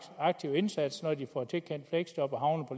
aktiv indsats når de får tilkendt fleksjob og